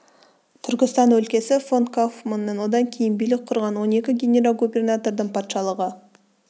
түркістан өлкесі фон кауфманның одан кейін билік құрған он екі генерал-губернатордың патшалығы